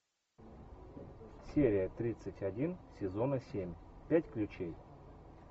серия тридцать один сезона семь пять ключей